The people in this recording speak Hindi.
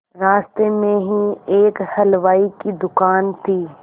रास्ते में ही एक हलवाई की दुकान थी